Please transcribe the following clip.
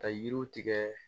Ka yiriw tigɛ